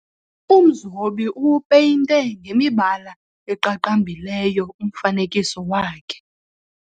Umzobi uwupeyinte ngemibala eqaqambileyo umfanekiso wakhe.